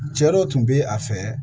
Cɛ dɔ tun bɛ a fɛ